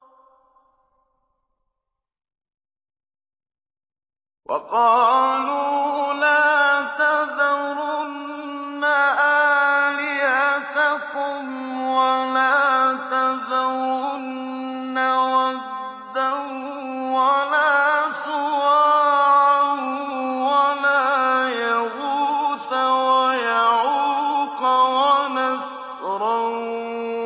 وَقَالُوا لَا تَذَرُنَّ آلِهَتَكُمْ وَلَا تَذَرُنَّ وَدًّا وَلَا سُوَاعًا وَلَا يَغُوثَ وَيَعُوقَ وَنَسْرًا